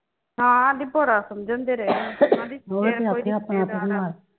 ਹਾਂ ਆਂਦੀ ਬੜਾ ਸਮਝਾਉਂਦੇ ਰਹੇ ਹਾ ਆਂਦੀ